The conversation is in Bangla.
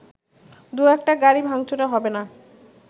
দু একটা গাড়ি ভাংচুরে হবেনা